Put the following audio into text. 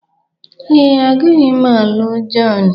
Ee, agaghị m alụ John.